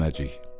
Düyməcik.